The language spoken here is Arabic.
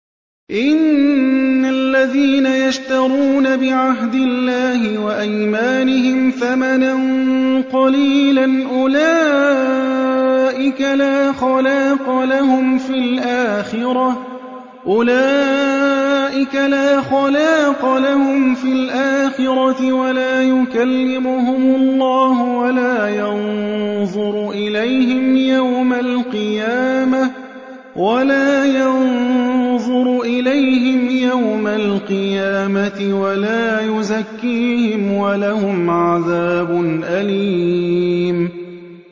إِنَّ الَّذِينَ يَشْتَرُونَ بِعَهْدِ اللَّهِ وَأَيْمَانِهِمْ ثَمَنًا قَلِيلًا أُولَٰئِكَ لَا خَلَاقَ لَهُمْ فِي الْآخِرَةِ وَلَا يُكَلِّمُهُمُ اللَّهُ وَلَا يَنظُرُ إِلَيْهِمْ يَوْمَ الْقِيَامَةِ وَلَا يُزَكِّيهِمْ وَلَهُمْ عَذَابٌ أَلِيمٌ